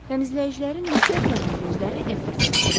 Təmizləyicilərin nifrət yağan gözləri Edvardsa dikilmişdi.